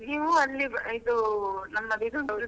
ನೀವು ಅಲ್ಲಿ ಇದು ನನ್ನದು ಇದು ಉಂಟಲ್ಲ.